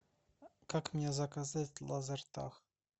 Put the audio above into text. как мне заказать лазертаг